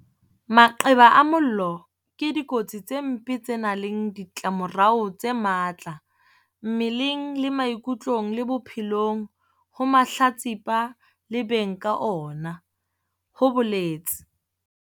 Maqeba a mollo ke dikotsi tse mpe tse nang le ditlamorao tse matla mmeleng le maikutlong le bophelong ho mahlatsipa le beng ka ona, ho boletse.